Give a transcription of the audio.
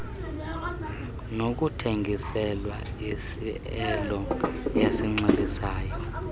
nokuthengiselwa isiaelo esinxilisayo